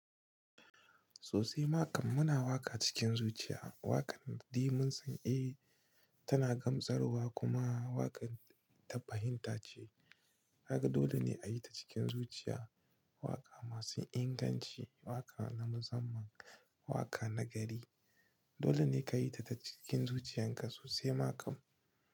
Sosai maƙam muna waƙa cikin zuciya. Waƙar dimunsun, eh tana gamsarwa kuma waƙar tafahinta ce. Haka dole ne a yi ta cikin zuciya. Waƙa masu inganci, waƙa na mu zamman, waƙa na gari. Dole ne ka yi ta cikin zuciyarka sosai maƙam.